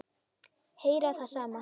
Heyra það sama.